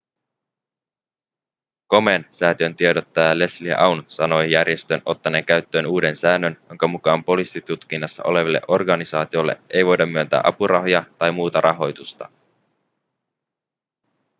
komen-säätiön tiedottaja leslie aun sanoi järjestön ottaneen käyttöön uuden säännön jonka mukaan poliisitutkinnassa oleville organisaatioille ei voida myöntää apurahoja tai muuta rahoitusta